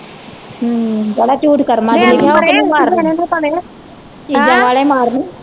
ਜਿਹੜਾ ਝੂਠ ਕਰਮ ਚ ਲਿਖਿਆ ਉਹ ਤੇ ਨਹੀਂ ਮਾਰਨੇ ਚੀਜ਼ਾਂ ਵਾਲੇ ਮਾਰਨੇ ਆ।